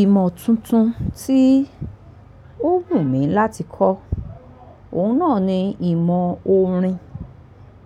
Ìmọ̀ tuntun tí ó wù mí láti kọ́, òun náà ni ìmọ̀ orin.